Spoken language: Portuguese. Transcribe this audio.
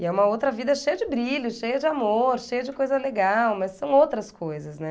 E é uma outra vida cheia de brilho, cheia de amor, cheia de coisa legal, mas são outras coisas, né?